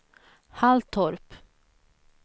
Halltorp